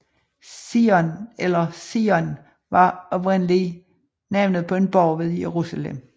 Zion eller Sion var oprindeligt navnet på en borg ved Jerusalem